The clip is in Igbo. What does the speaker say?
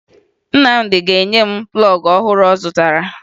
Nnamdị ga-enye m plọọgụ ọhụrụ ọ zụtara